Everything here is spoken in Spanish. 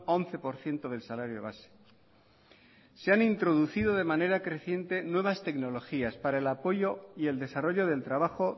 once por ciento del salario base se han introducido de manera creciente nuevas tecnologías para el apoyo y el desarrollo del trabajo